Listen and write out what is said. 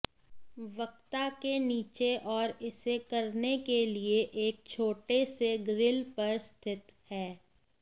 वक्ता के नीचे और इसे करने के लिए एक छोटे से ग्रिल पर स्थित है